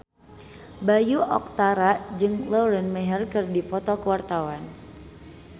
Bayu Octara jeung Lauren Maher keur dipoto ku wartawan